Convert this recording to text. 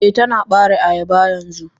Eh Tana bare ayaba yanzu.